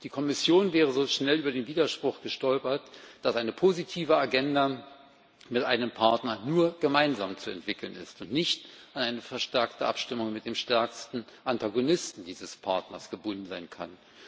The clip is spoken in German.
Die Kommission wäre so schnell über den Widerspruch gestolpert, dass eine positive Agenda mit einem Partner nur gemeinsam zu entwickeln ist und nicht an eine verstärkte Abstimmung mit dem stärksten Antagonisten dieses Partners gebunden sein kann.